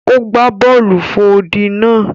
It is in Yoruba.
O gba bọọlu fò odi náà.